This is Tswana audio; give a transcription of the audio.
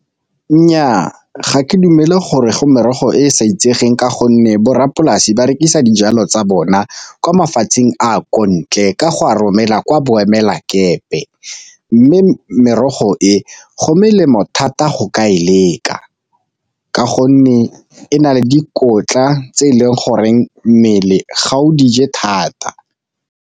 Nnyaa, ga ke dumele gore go merogo e e sa itsegeng ka gonne borrapolasi ba rekisa dijalo tsa bona kwa mafatsheng a kontle ka go a romela kwa boemela dikepe. Mme merogo e go melemo thata go ka e leka, ka gonne e na le dikotla tse e leng goreng mmele ga o dije thata.